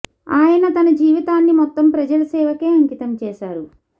ఆయన తన జీవితాన్ని మొత్తం ప్రజల సేవకే అంకితం చేశారు